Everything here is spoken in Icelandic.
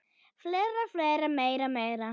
Fleiri, fleiri, meira, meira.